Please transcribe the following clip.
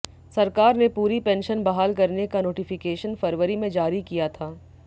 सरकार ने पूरी पेंशन बहाल करने का नोटिफिकेशन फरवरी में जारी किया था